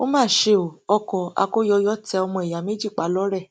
ó mà ṣe o ọkọ akóyọyọ tẹ ọmọ ìyá méjì pa lọrẹ